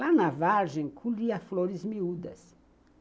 Lá na vargem, colhia flores miúdas.